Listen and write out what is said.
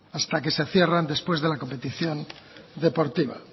hasta que se cierran después de la competición deportiva